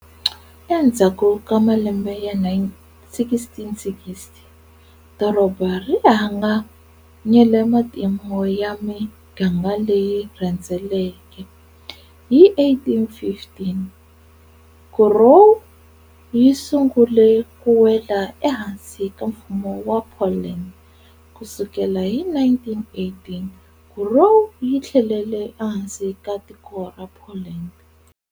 Endzhaku ka malembe ya 1660, doroba ri hlanganyele matimu ya miganga leyi rhendzeleke. Hi 1815, Kurów yi sungule kuwela ehansi ka Mfumo wa Poland. Kusukela hi 1918, Kurów yi thlelele ehansi ka tiko ra Poland.